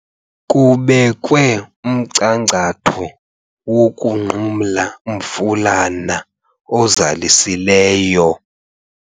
Kubekwe umchankcatho wokunqumla umfulana ozalisileyo.